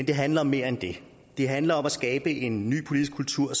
det handler om mere end det det handler om at skabe en ny politisk kultur